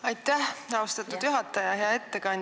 Aitäh, austatud juhataja!